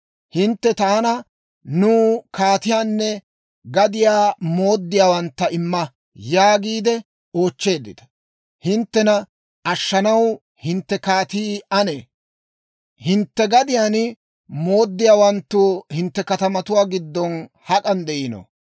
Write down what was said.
Hintte taana, ‹Nuw kaatiyaanne gadiyaa mooddiyaawantta imma› yaagiide oochcheeddita. Hinttena ashshanaw hintte kaatii anee? Hintte gadiyaa mooddiyaawanttuu hintte katamatuwaa giddon hak'an de'iino?